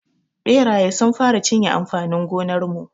Ɓeraye sun fara cinye amfanin gonar mu.